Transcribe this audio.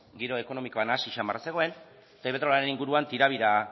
giro ekonomikoa nahasi zamarra zegoen eta iberdrolaren inguruan tirabira